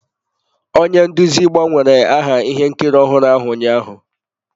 Onye nduzi gbanwere aha ihe nkiri ọhụrụ ahụ ụnyaahụ.